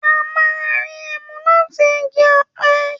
À mà rí ẹmú làtí ìgí ọpẹ.